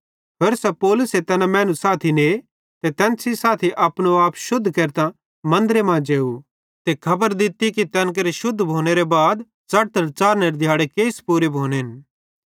होरसां पौलुसे तैना मैनू साथी ने ते तैन सेइं साथी अपने आपे शुद्ध केरतां मन्दरे मां जेव ते खबर दित्ती कि तैन केरे शुद्ध भोनेरे बाद च़ढ़तल च़ाढ़नेरे दिहाड़े केइस पूरे भोनेन